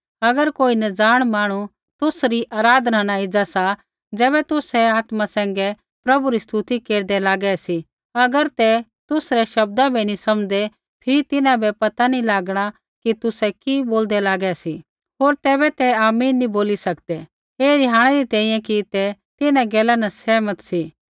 अगर कोई नज़ाण मांहणु तुसरी आराधना न एज़ा सा ज़ैबै तुसै आत्मा सैंघै प्रभु री स्तुति केरदै लागै सी अगर ते तुसरै शब्दा बै नी समझदै फिरी तिन्हां बै पता नैंई लागणा कि तुसै कि बोलदै लागै सी होर तैबै ते आमीन नी बोली सकदै ऐ रिहाणै री तैंईंयैं कि ते तिन्हां गैला न सहमत सी